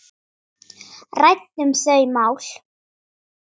Ræddum þau mál.